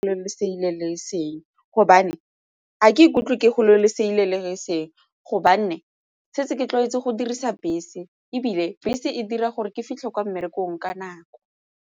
Le segile le e seng gobane ga ke ikutlwe ke go le selelo e seng gobane setse ke tlwaetseng go dirisa bese ebile bese e dira gore ke fitlhe kwa mmerekong ka nako.